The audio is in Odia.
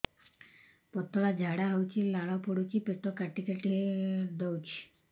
ପତଳା ଝାଡା ହଉଛି ଲାଳ ପଡୁଛି ପେଟ କାଟି କାଟି ଦଉଚି